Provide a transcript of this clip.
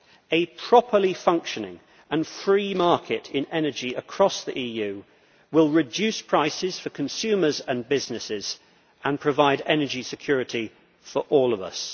A properly functioning and free market in energy across the EU will reduce prices for consumers and businesses and provide energy security for all of us.